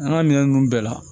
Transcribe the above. An ka minɛn ninnu bɛɛ la